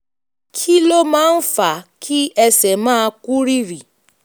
kí ló máa ń fa kí ẹsẹ̀ máa kú rìrì?